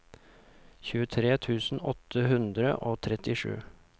tjuetre tusen åtte hundre og trettisju